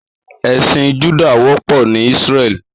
Èsín Jùdá wòpò ni Isrèlí